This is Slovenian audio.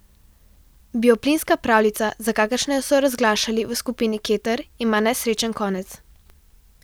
Bioplinska pravljica, za kakršno so jo razglašali v skupini Keter, ima nesrečen konec.